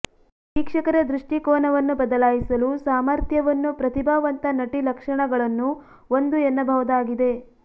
ವೀಕ್ಷಕರ ದೃಷ್ಟಿಕೋನವನ್ನು ಬದಲಾಯಿಸಲು ಸಾಮರ್ಥ್ಯವನ್ನು ಪ್ರತಿಭಾವಂತ ನಟಿ ಲಕ್ಷಣಗಳನ್ನೂ ಒಂದು ಎನ್ನಬಹುದಾಗಿದೆ